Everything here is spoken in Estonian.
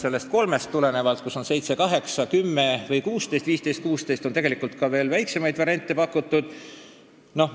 Peale pakutud kolme variandi, kus oli ette nähtud 7, 10 ja 15 valimisringkonda, on tegelikult ka veel väiksema valimisringkondade arvuga variante pakutud.